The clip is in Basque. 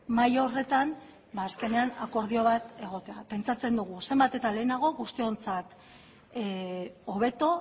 mahai horretan azkenean akordio bat egotea pentsatzen dugu zenbat eta lehenago guztiontzat hobeto